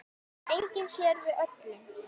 En enginn sér við öllum.